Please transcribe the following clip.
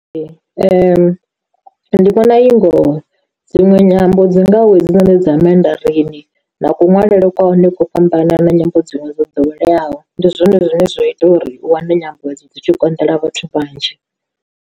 Ndi vhona i ngoho, dziṅwe nyambo dzingaho hedzinoni dza mandareni na kuṅwalele kwa hone ko fhambana na nyimbo dziṅwe dzo ḓoweleaho ndi zwone zwine zwa ita uri u wane nyambo dzo dzi tshi konḓela vhathu vhanzhi.